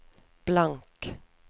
blank